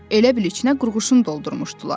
Elə bil içinə qurğuşun doldurmuşdular.